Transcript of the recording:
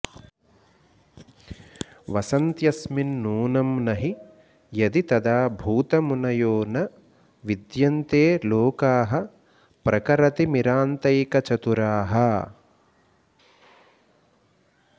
वसन्त्यस्मिन्नूनं नहि यदि तदा भूतमुनयो न विद्यन्ते लोकाः प्रखरतिमिरान्तैकचतुराः